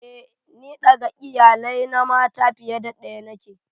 Eh, ni ɗaga iyalai na mata fiye da daya niƙe.